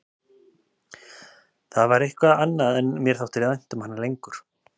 Það var eitthvað annað en mér þætti vænt um hana lengur.